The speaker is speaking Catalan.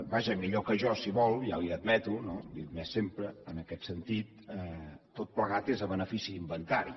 vaja millor que jo si vol ja li ho admeto no li he admès sempre en aquest sentit tot plegat és a benefici d’inventari